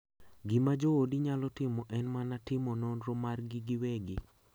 Gima joodi nyalo timo en mana timo nonro margi giwegi.